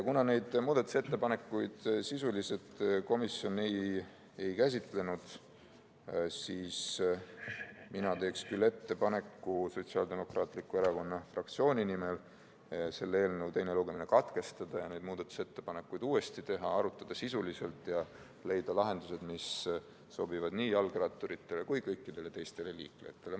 Kuna neid muudatusettepanekuid komisjon sisuliselt ei käsitlenud, teen mina Sotsiaaldemokraatliku Erakonna fraktsiooni nimel ettepaneku selle eelnõu teine lugemine katkestada ja neid muudatusettepanekuid uuesti sisuliselt arutada, et leida lahendused, mis sobivad nii jalgratturitele kui ka kõikidele teistele liiklejatele.